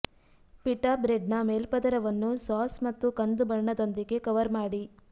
pita ಬ್ರೆಡ್ನ ಮೇಲ್ಪದರವನ್ನು sauce ಮತ್ತು ಕಂದು ಬಣ್ಣದೊಂದಿಗೆ ಕವರ್ ಮಾಡಿ